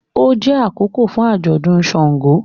O jẹ akókò fún ajọdún ṣàngó